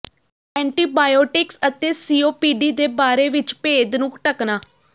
antibiotics ਅਤੇ COPD ਦੇ ਬਾਰੇ ਵਿੱਚ ਭੇਦ ਨੂੰ ਢੱਕਣਾ